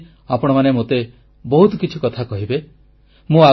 ମାସେଧରି ଆପଣମାନେ ମୋତେ ବହୁତ କିଛି କଥା କହିବେ